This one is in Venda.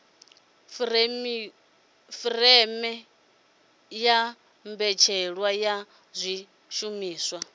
furemiweke ya mbetshelwa ya zwishumiswa